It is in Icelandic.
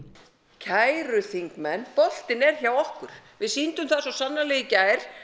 kæru þingmenn boltinn er hjá okkur við sýndum það svo sannarlega í gær